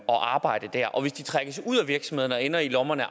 og arbejde der og hvis de trækkes ud af virksomheden og ender i lommerne